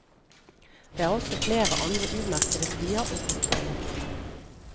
Det er også flere andre umerkede stier og grotter i område.